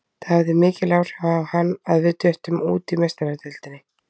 Það hafði mikil áhrif á hann að við duttum út í Meistaradeildinni.